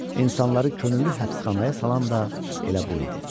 İnsanları könüllü həbsxanaya salan da elə bu idi.